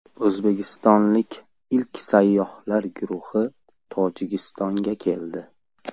O‘zbekistonlik ilk sayyohlar guruhi Tojikistonga keldi.